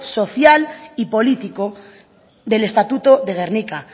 social y político del estatuto de gernika